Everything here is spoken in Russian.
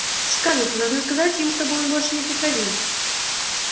скарлетт вы должны сказать ему чтобы он больше не приходил